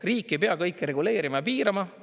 Riik ei pea kõike reguleerima ja piirama.